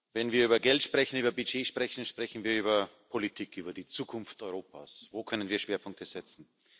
Wenn wir über Geld sprechen, über Budget sprechen, sprechen wir über Politik, über die Zukunft Europas. Wo können wir Schwerpunkte setzen?